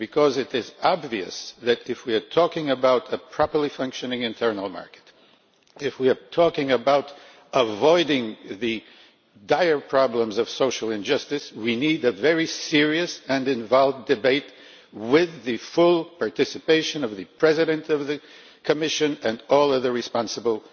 It is obvious that, if we are talking about a properly functioning internal market, if we are talking about avoiding the dire problems of social injustice, we need a very serious and involved debate with the full participation of the President of the Commission and all of the responsible